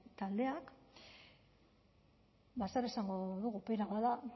taldeak bada zer esango dugu pena bat da